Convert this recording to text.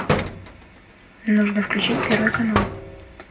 нужно включить первый канал